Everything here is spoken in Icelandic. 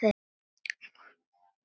LÁRUS: Hvað áttu við?